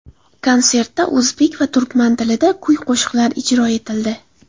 Konsertda o‘zbek va turkman tilida kuy-qo‘shiqlar ijro etildi.